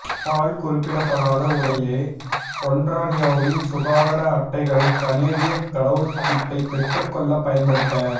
பால் குறிப்பிடப்படாத உடைய ஒன்ராரியோவின் சுகாதார அட்டைகளைக் கனேடியக் கடவுச்சீட்டைப் பெற்றுக்கொள்ளப் பயன்படுத்த